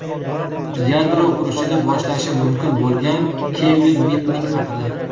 Yadro urushini boshlashi mumkin bo‘lgan Kevin Mitnik haqida.